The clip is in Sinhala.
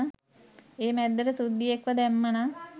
ඒ මැද්දට සුද්දියෙක්ව දැම්ම නම්